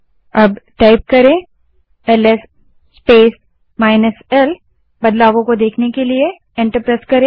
अब ls space -l type करें और बदलाव देखने के लिए एंटर दबायें